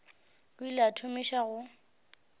o ile a thomiša go